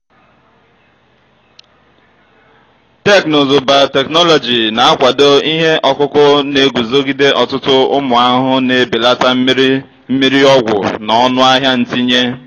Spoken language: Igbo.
teknụzụ biotechnology na-akwado ihe ọkụkụ na-eguzogide ọtụtụ ụmụ ahụhụ na-ebelata mmiri mmiri ọgwụ na ọnụ ahịa ntinye.